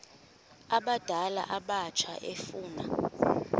abadala abatsha efuna